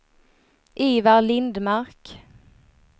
Ivar Lindmark